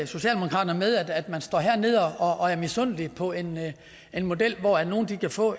socialdemokraterne med at man står hernede og er misundelige på en model hvor nogle kan få